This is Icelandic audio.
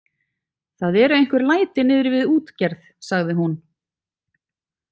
Það eru einhver læti niðri við útgerð, sagði hún.